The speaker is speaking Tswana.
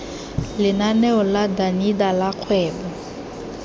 lenaneo la danida la kgwebo